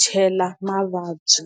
chela mavabyi.